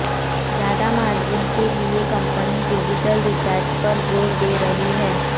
ज्यादा मार्जिन के लिए कंपनी डिजिटल रिचार्ज पर जोर दे रही है